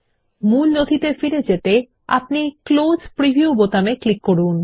মূল নথিতে ফিরে যেতে ক্লোজ প্রিভিউ বোতামে ক্লিক করুন